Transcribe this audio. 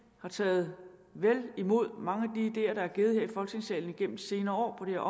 har taget vel imod mange af de ideer der er givet her i folketingssalen gennem de senere år på det